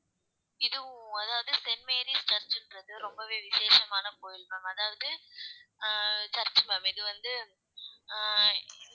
இதுவும் அதாவது Saint Mary's சர்ச்ன்றது ரொம்பவே விசேஷமான கோயில் ma'am அதாவது அஹ் church ma'am இது வந்து அஹ்